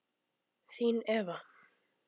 Þín Eva